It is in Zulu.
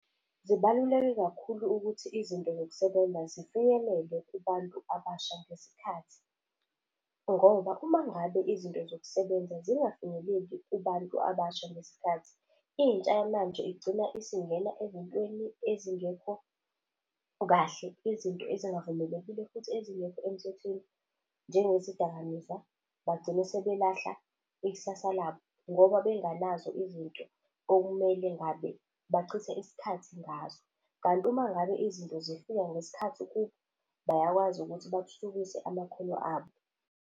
Zibaluleke kakhulu ukuthi izinto zokusebenza zifinyelele kubantu abasha ngesikhathi ngoba uma ngabe izinto zokusebenza zingafinyeleli kubantu abasha ngesikhathi, intsha yamanje igcina isingena ezintweni ezingekho kahle, izinto ezingavumelekile futhi ezingekho emthethweni njengezidakamizwa. Bagcine sebelahla ikusasa labo ngoba benganazo izinto okumele ngabe bachithe isikhathi ngazo. Kanti uma ngabe izinto zifika ngesikhathi kubo, bayakwazi ukuthi bathuthukise amakhono abo.